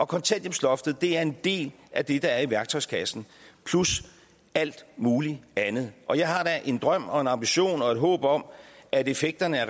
kontanthjælpsloftet er en del af det der er i værktøjskassen plus alt muligt andet og jeg har da en drøm og en ambition og et håb om at effekterne af